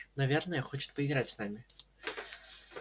наверное хочет поиграть с нами